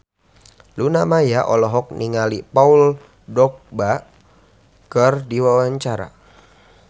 Luna Maya olohok ningali Paul Dogba keur diwawancara